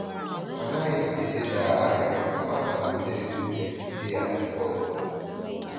A naghim eleda arịrịọ kama a nam eme etu m nwere ike ya mgbe ọbụla